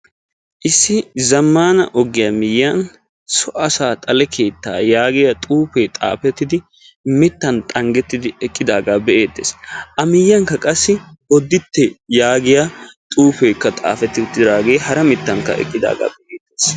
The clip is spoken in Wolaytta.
issi zammaana ogiya miyyiyan so asaa xale keetta yaagiya xuufee xaafettidi mittan xanggettidi eqqidaagaa be'eettes. a miyyiyankka qassi bodditte yaagiya xuufeekka xaafettidaagee hara mittan eqqidaagaaa be'eettes.